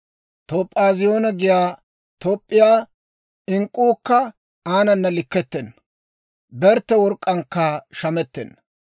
Toop'aaziyooniyaa giyaa Toop'p'iyaa ink'k'uukka aanana likkettenna; bertte work'k'aankka shamettenna.